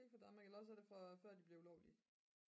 ikke fra danmark eller også er det fra før de blev ulovlige